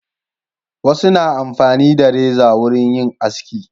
Wasu na amfani na reza wurin yin aski.